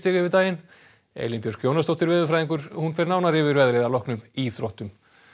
yfir daginn Elín Björk Jónasdóttir veðurfræðingur fer yfir veðrið að loknum íþróttum